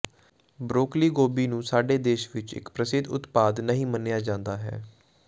broccoli ਗੋਭੀ ਨੂੰ ਸਾਡੇ ਦੇਸ਼ ਵਿਚ ਇਕ ਪ੍ਰਸਿੱਧ ਉਤਪਾਦ ਨਹੀਂ ਮੰਨਿਆ ਜਾਂਦਾ ਹੈ